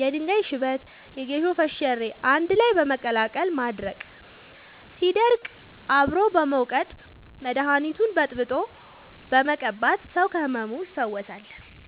የድንጋይ ሽበት የጌሾ ፈሸሬ አንድላይ በመቀላቀል ማድረቅ ሲደርቅ አብሮ በመውቀጥ መደኒቱን በጥብጦ በመቀባት ሰው ከህመሙ ይፈወሳል።